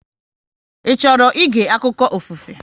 Ị chọrọ ịge akụkọ ofufe?